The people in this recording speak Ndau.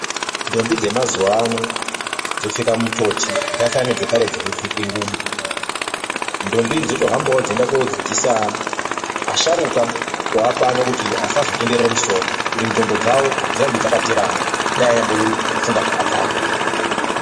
Ndombi dzemazuva ano dzopfeka mitoti dzafanana nedzekare dzaipfeke ngubo. Ndombi idzi dzotohambawo dzeienda kuodzidzisa asharuka waapano kuti asazotenderere musoro. Kuti ndxondo dzavo dzirambe dzakaterama, dai anyambofunga zvakadzama.